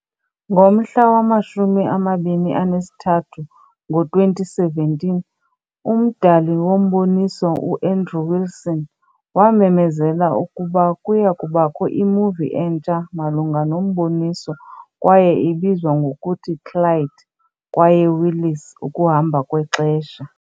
Ngomhla wama-23, ngo-2017, umdali womboniso, u-Andrew Wilson wamemezela ukuba kuya kubakho i-movie entsha malunga nomboniso kwaye ibizwa ngokuthi- "Clyde kwaye Willis- Ukuhamba Kwexesha"